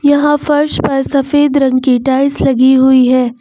यहां फर्श पर सफेद रंग की टाइल्स लगी हुई है।